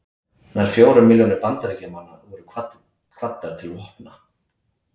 nær fjórar milljónir bandaríkjamanna voru kvaddar til vopna